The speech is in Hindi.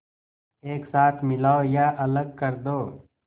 एक साथ मिलाओ या अलग कर दो